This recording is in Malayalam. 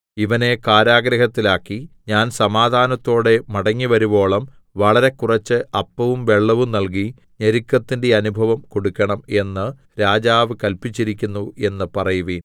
ഇവനെ കാരാഗൃഹത്തിൽ ആക്കി ഞാൻ സമാധാനത്തോടെ മടങ്ങിവരുവോളം വളരെ കുറച്ച് അപ്പവും വെള്ളവും നൽകി ഞെരുക്കത്തിന്റെ അനുഭവം കൊടുക്കണം എന്ന് രാജാവ് കല്പിച്ചിരിക്കുന്നു എന്നു പറയുവീൻ